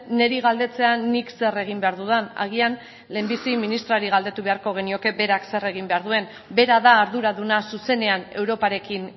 niri galdetzea nik zer egin behar dudan agian lehenbizi ministrari galdetu beharko genioke berak zer egin behar duen bera da arduraduna zuzenean europarekin